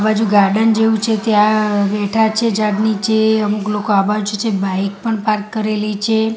આ બાજુ ગાર્ડન જેવું છે ત્યાં બેઠા છે ઝાડ નીચે અમુક લોકો આ બાજુ છે બાઈક પણ પાર્ક કરેલી છે.